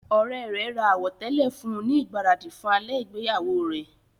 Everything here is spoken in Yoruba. Ọ̀rẹ́ rẹ̀ ra àwọ̀tẹ́lẹ̀ fún un ní ìgbáradì fún alẹ́ ìgbéyàwó rẹ.